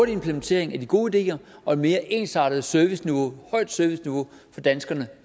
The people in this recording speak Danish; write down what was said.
implementering af de gode ideer og et mere ensartet serviceniveau højt serviceniveau for danskerne